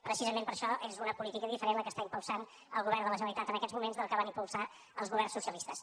precisament per això és una política diferent la que està impulsant el govern de la generalitat en aquests moments de la que van impulsar els governs socialistes